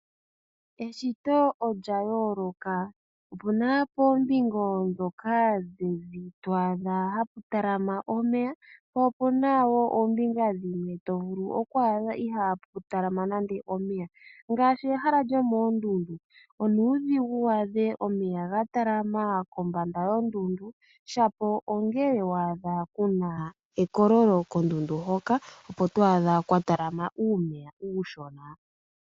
Eshito olya yooloka. Opu na poombinga ndhoka dhili to adha hapu talama omeya, po opu na dhimwe to vulu okwaadha ihaapu talama nande omeya. Ngaashi mehala lyoondundu, onuudhigu waadhe omeya ga talama kombanda yondundu. Shapo ongele wa adha ku na ekololo kondundu hoka opo to adha kwa talama uumeya uushona.